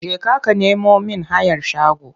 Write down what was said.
Jeka ka nemo mIn hayar shago!